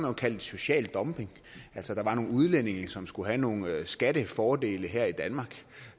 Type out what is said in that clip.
jo kaldt det social dumping altså der var nogle udlændinge som skulle have nogle skattefordele her i danmark